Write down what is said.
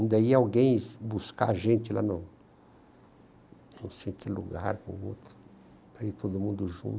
Ainda ia alguém buscar a gente lá no... Não sei em que lugar, para ir todo mundo junto.